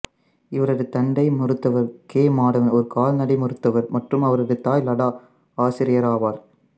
இவரது தந்தை மருத்துவர் கே மாதவன் ஒரு கால்நடை மருத்துவர் மற்றும் அவரது தாய் லதா ஆசிரியர் ஆவார்